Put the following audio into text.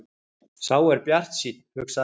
Sá er bjartsýnn, hugsaði Lalli.